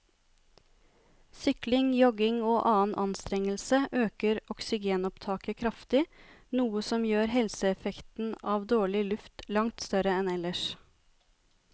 Sykling, jogging og annen anstrengelse øker oksygenopptaket kraftig, noe som gjør helseeffekten av dårlig luft langt større enn ellers.